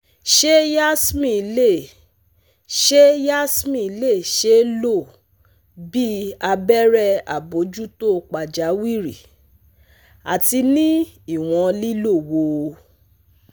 Ṣe Yasmin le Ṣe Yasmin le ṣee lo bi abẹrẹ abojuto pajawiri? ati ni iwọn lilo wo?